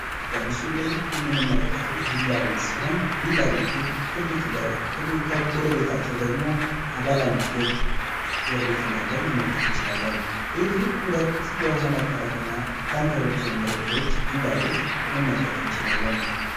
በምሱሉ ላይ የምንመለከተው ቪላ ቤት ሲሆን ቪላ ቤቱ ትልቅ በር ከጎር ቤታቸው ደግሞ በአለ አንድ ፎቅ ጎር ቤት እንዳለው መመልከትን ችላለን። ቤቱ ሁለት የውሃ መጠረቀሚያ ታንከሮቹ ወይም ሮቶዎች እንዳሉት መመልከትን እችላለን።